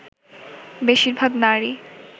বেশির ভাগ নারী